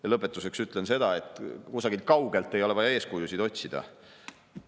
Ja lõpetuseks ütlen seda, et kusagilt kaugelt ei ole vaja eeskujusid otsida.